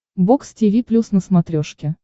бокс тиви плюс на смотрешке